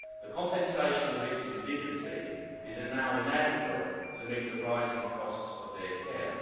The compensation the victims did receive is now inadequate to meet the rising costs of their care.